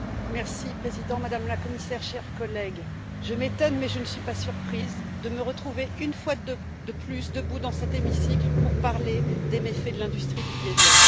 Monsieur le Président, Madame la Commissaire, chers collègues, je m'étonne, mais je ne suis pas surprise de me retrouver, une fois de plus, debout dans cet hémicycle pour parler des méfaits de l'industrie du diesel.